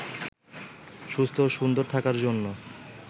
সুস্থ ও সুন্দর থাকার জন্য